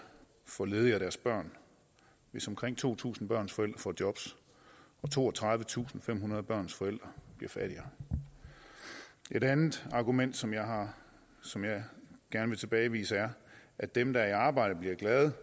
for ledige og deres børn hvis omkring to tusind børns forældre får jobs og toogtredivetusinde og femhundrede børns forældre bliver fattigere et andet argument som jeg som jeg gerne vil tilbagevise er at dem der er i arbejde bliver